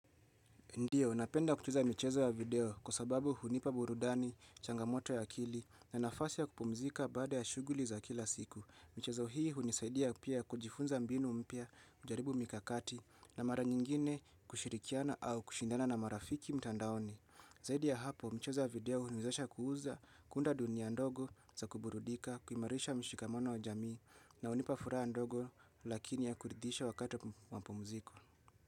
Ndiyo, napenda kucheza michezo ya video kwa sababu hunipa burudani, changamoto ya akili na nafasi ya kupumzika baada ya shughuli za kila siku. Mchezo hii hunisaidia pia kujifunza mbinu mpya kujaribu mikakati na mara nyingine kushirikiana au kushindana na marafiki mtandaoni. Zaidi ya hapo, mchezo wa video huniwezesha kuuza kunda dunia ndogo za kuburudika, kuimarisha mshikamano wa jamii na hunipa furaha ndogo lakini ya kuridisha wakati wa mapumziko.